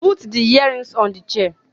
Put the earrings on the chair